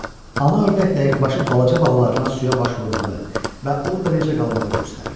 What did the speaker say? Ana ördək dəqiqəbaşı balaca balalarına suya baş vurmağı və orada necə qalmağı göstərirdi.